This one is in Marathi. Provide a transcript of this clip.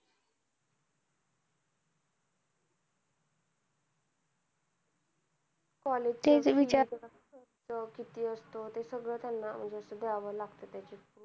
college चं ठीके विचारते किती असतं, ते सगळं असं त्यांना म्हणजे असं द्यावं लागतं